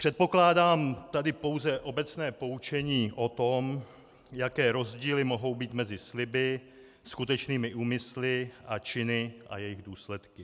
Předpokládám tady pouze obecné poučení o tom, jaké rozdíly mohou být mezi sliby, skutečnými úmysly a činy a jejich důsledky.